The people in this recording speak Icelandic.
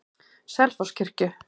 Selfosskirkju